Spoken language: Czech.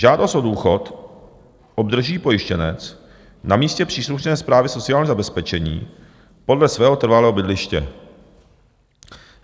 Žádost o důchod obdrží pojištěnec na místně příslušné správě sociálního zabezpečení podle svého trvalého bydliště.